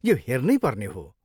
यो हेर्नैपर्ने हो।